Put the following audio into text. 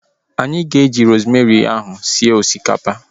Anyị ga-eji rosemary ahu sie osikapa